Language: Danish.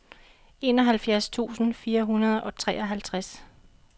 enoghalvfjerds tusind fire hundrede og treoghalvtreds